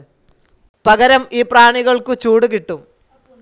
പകരം ഈ പ്രാണികൾക്കു ചൂട് കിട്ടും.